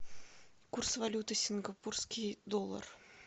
курс валюты сингапурский доллар